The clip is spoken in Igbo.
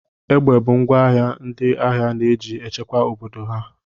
Egbe bụ ngwa agha ndị agha na-eji echekwa obodo ha.